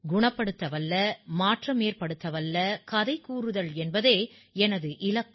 குணப்படுத்தவல்ல மாற்றமேற்படுத்தவல்ல கதை கூறுதல் என்பதே எனது இலக்கு